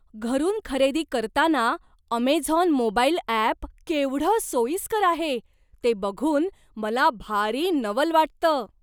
घरून खरेदी करताना अमेझॉन मोबाईल अॅप केवढं सोयीस्कर आहे ते बघून मला भारी नवल वाटतं.